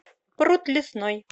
пруд лесной